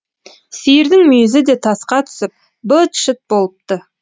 сиырдың мүйізі де тасқа түсіп быт шыт болыпты